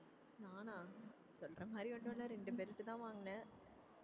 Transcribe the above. நானா சொல்ற மாதிரி ஒண்ணுமில்ல ரெண்டு belt தான் வாங்கினேன்